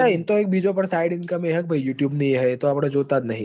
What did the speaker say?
ઇ ન તો sideincome હશે ન youtoub ની એ તો આપડ જોતાઈ નહિ